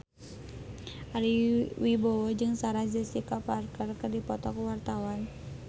Ari Wibowo jeung Sarah Jessica Parker keur dipoto ku wartawan